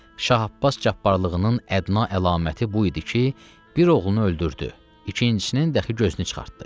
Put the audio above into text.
Şah Abbas cəbbərlığının ədna əlaməti bu idi ki, bir oğlunu öldürdü, ikincisinin dəxi gözünü çıxartdı.